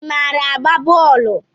ị maara agba bọọlu?